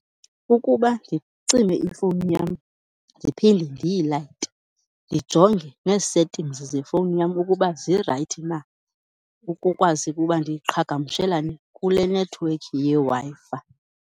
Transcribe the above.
Kukuba ndicime ifowuni yam ndiphinde ndiyilayite, ndijonge nee-settings zefowuni yam ukuba zirayithi na ukukwazi ukuba ndiqhagamshelane kule nethiwekhi yeWi-Fi.